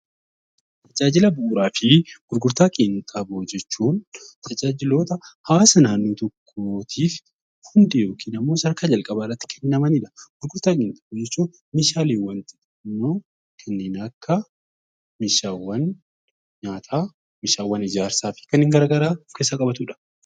Tajaajila Bu'uraa fi Gurgurtaa Qinxaaboo jechuun tajaajiloota hawaasa naannoo tokkoo tiif hundee yookiin immoo sadarkaa jalqabaa irratti kennamani dha. Gurgurtaa jechuun meeshaaleewwan kanneen akka meeshaawwan nyaataa, meeshaawwan ijaarsaa fi kanneen gara garaa of keessaa qabatu dha.